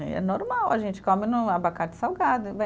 É normal, a gente come no abacate salgado.